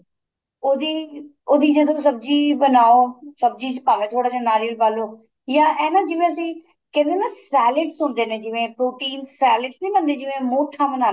ਉਹਦੀ ਉਹਦੀ ਜਦੋਂ ਸਬਜੀ ਬਣਾਉ ਸਬਜੀ ਚ ਪਾ ਲੋ ਥੋੜਾ ਜਾ ਨਾਰੀਅਲ ਪਾ ਲੋ ਜਾਂ ਇਹ ਨਾ ਜਿਵੇਂ ਅਸੀਂ ਕਹਿੰਦੇ ਨਾ salads ਹੁੰਦੇ ਜਿਵੇਂ protein salads ਨੀਂ ਬਣਦੇ ਜਿਵੇਂ ਮੋਠਾ ਬਣਾ